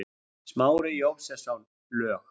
Smári Jósepsson, lög